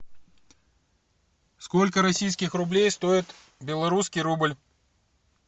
сколько российских рублей стоит белорусский рубль